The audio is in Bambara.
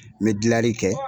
N bɛ dilanli kɛ